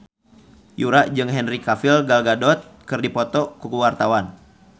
Yura jeung Henry Cavill Gal Gadot keur dipoto ku wartawan